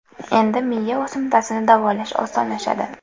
Endi miya o‘simtasini davolash osonlashadi.